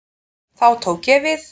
Þá tók ég við.